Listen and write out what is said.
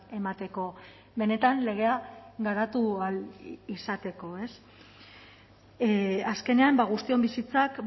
emateko benetan legea garatu ahal izateko azkenean guztion bizitzak